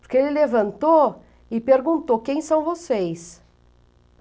Porque ele levantou e perguntou, quem são vocês?